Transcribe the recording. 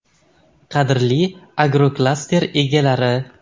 Qadrli agroklaster egalari!